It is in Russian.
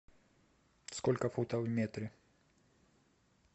сколько футов в метре